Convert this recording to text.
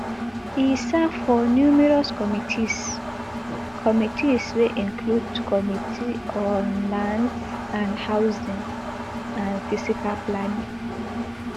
e serve for numerous committees committees wey include committee on lands and housing and physical planning